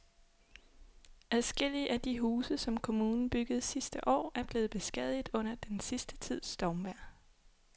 Adskillige af de huse, som kommunen byggede sidste år, er blevet beskadiget under den sidste tids stormvejr.